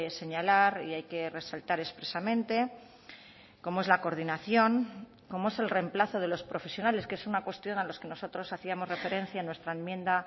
señalar y hay que resaltar expresamente como es la coordinación como es el reemplazo de los profesionales que es una cuestión a los que nosotros hacíamos referencia en nuestra enmienda